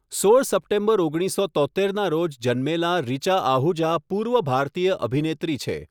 સોળ સપ્ટેમ્બર ઓગણીસસો તોત્તેરના રોજ જન્મેલાં રિચા આહુજા પૂર્વ ભારતીય અભિનેત્રી છે.